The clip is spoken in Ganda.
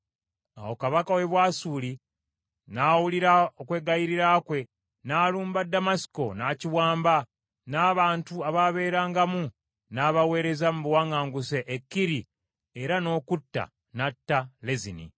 Awo kabaka w’e Bwasuli n’awulira okwegayirira kwe, n’alumba Ddamasiko, n’akiwamba, n’abantu abaabeerangamu n’abaweereza mu buwaŋŋanguse e Kiri, era n’okutta n’atta Lezini.